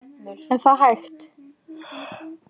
Er það hægt?